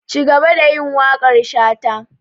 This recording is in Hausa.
Cigaba da yin waƙar shata!